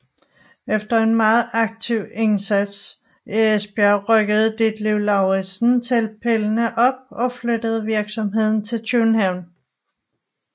Efter en meget aktiv indsats i Esbjerg rykkede Ditlev Lauritzen teltpælene op og flyttede virksomheden til København